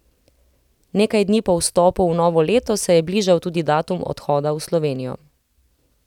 Nekaj dni po vstopu v novo leto se je bližal tudi datum odhoda v Slovenijo.